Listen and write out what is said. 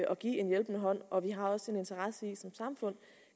at give en hjælpende hånd og vi har også en interesse i som samfund